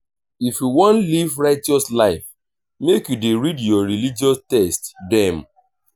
if you wan live righteous life make you dey read your religious text dem.